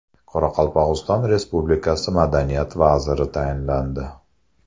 Qoraqalpog‘iston Respublikasi Madaniyat vaziri tayinlandi.